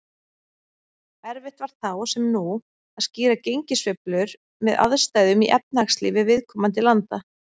Erfitt var þá, sem nú, að skýra gengissveiflur með aðstæðum í efnahagslífi viðkomandi landa.